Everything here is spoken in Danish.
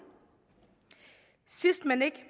sidst men ikke